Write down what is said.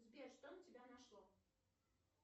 сбер что на тебя нашло